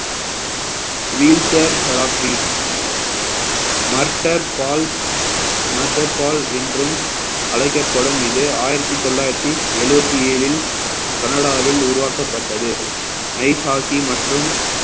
wheelchairs therapy murder pal murder pal என்றும் அழைக்கப்படும் இது ஆயிரத்தி தொள்ளாயிரத்தி எழுபத்தி ஏழில் கனடாவில் உருவாக்கப்பட்டது ஐஷாஹி மற்றும்